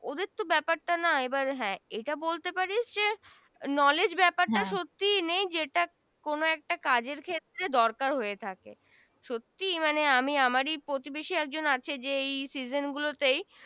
ওদের তো ব্যাপারটা না হ্যা এটা বলতে পারিস যে knowledge ব্যপার টা সত্যি নেই যেটা কোন একটা কাজের ক্ষেত্রে দরকার হয়ে থাকে সত্যি মানে আমি আমারি প্রতিবেশি একজন আছে যেই এই season গুলোতে